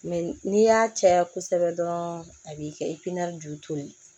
n'i y'a caya kosɛbɛ dɔrɔn a b'i kɛ ju to ye